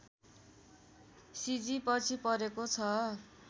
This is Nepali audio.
सिजी पछि परेको छ